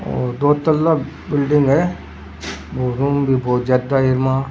ओर दो तला बिल्डिंग है और रूम भी बहुत ज्यादा है वहां।